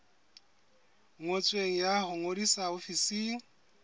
ngotsweng ya ho ngodisa ofising